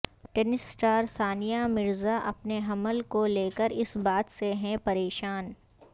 tennis star Sania Mirza اپنے حمل کو لے کر اس بات سے ہیں پریشان